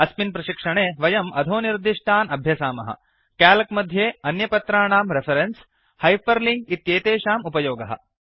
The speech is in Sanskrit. अस्मिन् प्रशिक्षणे वयम् अधोनिर्दिष्टान् अभ्यसामः क्याल्क् मध्ये अन्यपत्राणां रेफरेन्स् हैपर् लिंक् इत्येतेषाम् उपयोगः